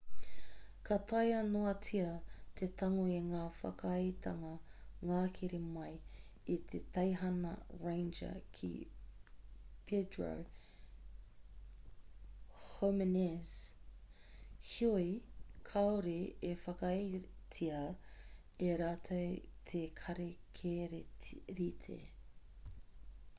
ka taea noatia te tango i ngā whakaaetanga ngāhere mai i te teihana ranger ki puerto jimēnez heoi kāore e whakaaetia e rātou te kāri kererita